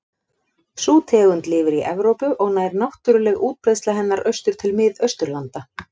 Sú tegund lifir í Evrópu og nær náttúruleg útbreiðsla hennar austur til Mið-Austurlanda.